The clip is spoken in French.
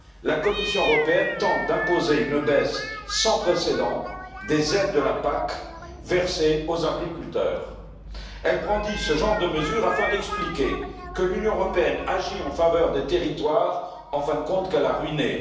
la Commission européenne tente d'imposer une baisse sans précédent des aides de la PAC versées aux agriculteurs. Elle brandit ce genre de mesures afin d'expliquer que l'Union européenne agit en faveur des territoires qu'elle a en fin de compte ruinés.